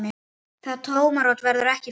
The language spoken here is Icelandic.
Það tómarúm verður ekki fyllt.